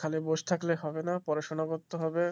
খালি বসে থাকলে হবে না পড়াশোনা করতে হবে.